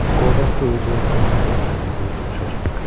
Kukukaskei ichek konaikei akomeny kou tupchoshek